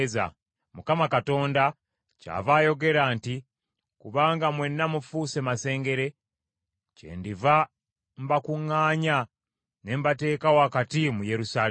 Mukama Katonda kyava ayogera nti, ‘Kubanga mwenna mufuuse masengere, kyendiva mbakuŋŋaanya ne mbateeka wakati mu Yerusaalemi.